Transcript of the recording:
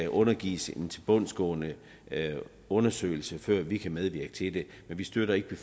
undergives en tilbundsgående undersøgelse før vi kan medvirke til det vi støtter ikke